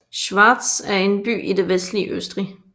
Schwaz er en by i det vestlige Østrig